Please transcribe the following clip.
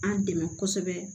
An dɛmɛ kosɛbɛ